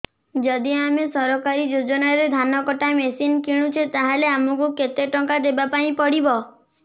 ଯଦି ଆମେ ସରକାରୀ ଯୋଜନାରେ ଧାନ କଟା ମେସିନ୍ କିଣୁଛେ ତାହାଲେ ଆମକୁ କେତେ ଟଙ୍କା ଦବାପାଇଁ ପଡିବ